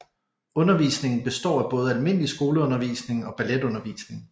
Undervisningen består af både almindelig skoleundervisning og balletundervisning